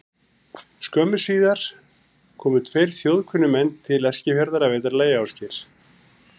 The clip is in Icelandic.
Skömmu síðar komu tveir þjóðkunnir menn til Eskifjarðar að vetrarlagi, Ásgeir